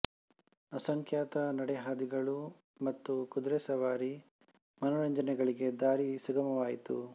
ಅಸಂಖ್ಯಾತ ನಡೆಹಾದಿಗಳು ಮತ್ತು ಕುದುರೆ ಸವಾರಿ ಮನರಂಜನೆಗಳಿಗೆ ದಾರಿ ಸುಗಮವಾಯಿತು